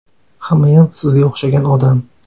Hammayam sizga o‘xshagan odam.